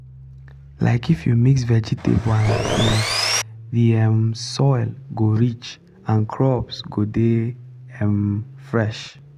um if you mix vegetable and beans the um soil go rich and crops go dey um fresh.